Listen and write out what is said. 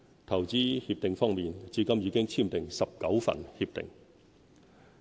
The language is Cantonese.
投資協定方面，至今已簽訂19份協定。